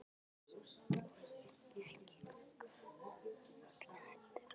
Og ekki Gugga og Högna heldur.